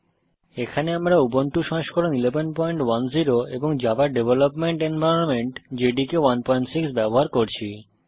এখানে আমরা উবুন্টু সংস্করণ 1110 এবং জাভা ডেভেলপমেন্ট এনভায়রনমেন্ট জেডিকে 16 ব্যবহার করছি